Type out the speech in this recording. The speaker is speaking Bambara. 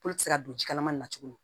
Kolo tɛ se ka don jikalaman nin na tuguni